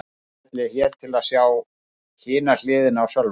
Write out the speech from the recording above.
Smellið hér til að sjá hina hliðina á Sölva